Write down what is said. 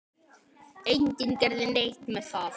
Enginn gerði neitt með það.